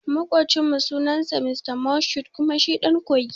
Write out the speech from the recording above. Makucin mu sunan sa Mr Moshood kuma shi ɗan kogi ne